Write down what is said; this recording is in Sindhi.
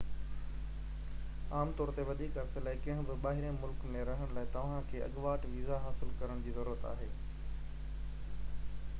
عام طور تي وڌيڪ عرصي لاءِ ڪنهن به ٻاهرين ملڪ ۾ رهڻ لاءِ توهان کي اڳواٽ ويزا حاصل ڪرڻ جي ضرورت پوندي